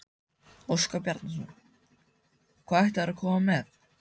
Óskar Bjarnason: Hvað ætla þeir að koma með?